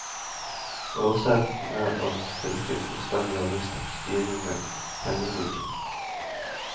Årsaken er at fylket fullstendig har mistet styringen med pengebruken.